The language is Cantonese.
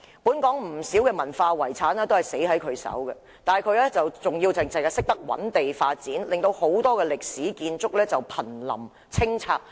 本港不少文化遺產都是毀於他的手中，但他依然只顧覓地建屋，致令很多歷史建築物瀕臨清拆。